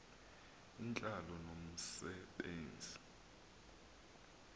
intlalo nomse benzi